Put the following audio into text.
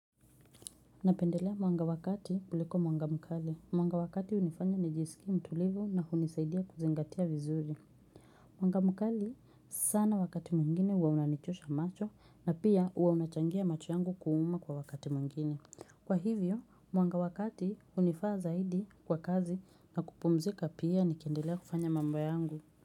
Napendelea mwanga wa kati kuliko mwanga mkali. Mwanga wa kati hunifanya nijisikie mtulivu na hunisaidia kuzingatia vizuri. Mwanga mkali sana wakati mwingine huwa unanichosha macho na pia huwa unachangia macho yangu kuuma kwa wakati mwingine. Kwa hivyo, mwanga wakati hunifaa zaidi kwa kazi na kupumzika pia nikendelea kufanya mambo yangu.